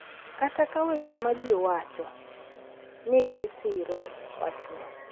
Kata ka weche ma ji wacho nigi siro wachno, .